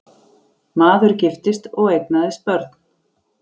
Maður giftist og eignaðist börn.